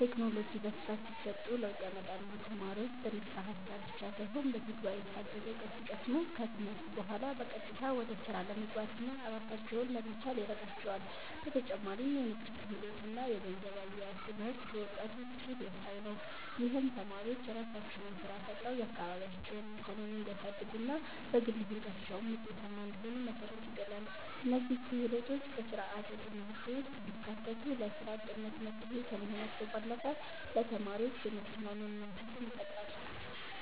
ቴክኖሎጂ በስፋት ቢሰጡ ለውጥ ያመጣሉ። ተማሪዎች በንድፈ ሃሳብ ብቻ ሳይሆን በተግባር የታገዘ እውቀት ሲቀስሙ፣ ከትምህርት በኋላ በቀጥታ ወደ ስራ ለመግባትና ራሳቸውን ለመቻል ይረዳቸዋል። በተጨማሪም የንግድ ክህሎት እና የገንዘብ አያያዝ ትምህርት ለወጣቱ ስኬት ወሳኝ ነው። ይህም ተማሪዎች የራሳቸውን ስራ ፈጥረው የአካባቢያቸውን ኢኮኖሚ እንዲያሳድጉና በግል ህይወታቸውም ውጤታማ እንዲሆኑ መሰረት ይጥላል። እነዚህ ክህሎቶች በስርዓተ ትምህርቱ ውስጥ ቢካተቱ ለስራ አጥነት መፍትሄ ከመሆናቸው ባለፈ ለተማሪዎች የመተማመን መንፈስን ይፈጥራሉ።